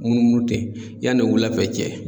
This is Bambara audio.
Munumunu ten yanni wulafɛ cɛ.